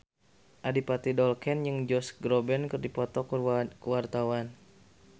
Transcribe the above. Adipati Dolken jeung Josh Groban keur dipoto ku wartawan